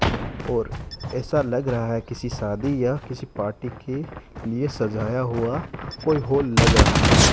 और ऐसा लग रहा है किसी शादी या किसी पार्टी के लिए सजाया हुआ कोई हॉल लग रहा है।